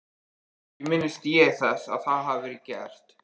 Ekki minnist ég þess að það hafi verið gert.